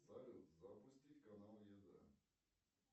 салют запустить канал еда